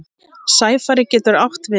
Sæfari getur átt við